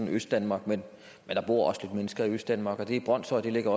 østdanmark men der bor også lidt mennesker i østdanmark og brønshøj ligger